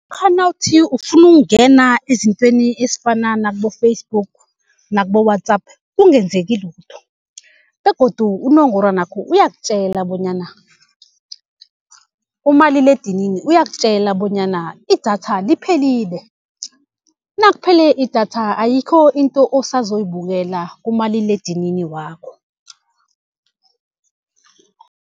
Lokha nawuthi ufuna ukungena ezintweni ezifana nakubo-Facebook nakubo-WhatsApp kungenzeki lutho begodu unongorwanwakho uyakutjela bonyana, umaliledinini uyakutjela bonyana idatha liphelile. Nakuphele idatha ayikho into osazoyibukela kumaliledinini wakho.